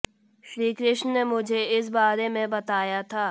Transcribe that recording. श्री कृष्ण ने मुझे इस बारे में बताया था